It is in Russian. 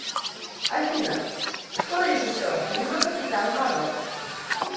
афина кто режиссер фильма капитан марвел